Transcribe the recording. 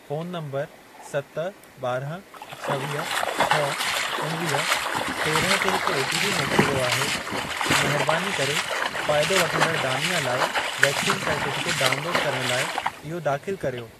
Phone number सत, ॿारहं, छवीह, छह, उणिवीह, तेरहं ते हिक ओटीपी मोकिलियो वियो आहे। महिरबानी करे फायदो वठंदड़ दानिआ लाइ वैक्सीन सर्टिफिकेट डाउनलोड करण लाइ इहो दाख़िल कर्यो।